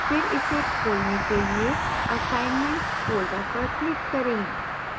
फिर इसे खोलने के लिए assignments folder पर click करें